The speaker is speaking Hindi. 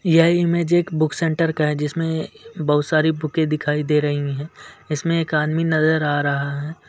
यह इमेज एक बुक सेंटर का है जिसमें बहुत सारी बुकें दिखाई दे रहीं हैं इसमें एक आदमी नजर आ रहा है।